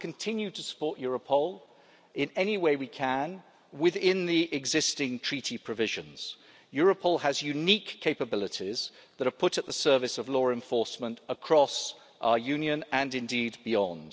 We will continue to support Europol in any way we can within the existing Treaty provisions. Europol has unique capabilities that are put at the service of law enforcement across our Union and, indeed, beyond.